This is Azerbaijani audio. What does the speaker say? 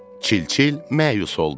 Çil-çil məyus oldu.